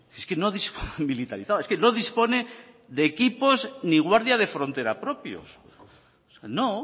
es que no es militarilizada es que no dispone ni de equipos ni de guardias de frontera propios no